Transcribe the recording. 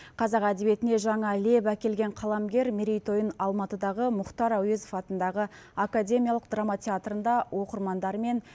қазақ әдебиетіне жаңа леп әкелген қаламгер мерейтойын алматыдағы мұхтар әуезов атындағы академиялық драма театрында оқырмандарымен